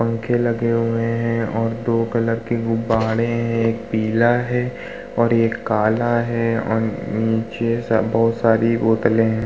पंखे लगे हुए हैं और दो कलर के गुब्बारे हैं। एक पीला है और एक काला है और नीचे सब बहोत सारी बोतले हैं।